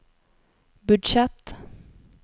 budsjett